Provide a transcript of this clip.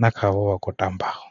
na khaavho vha kho tambaho.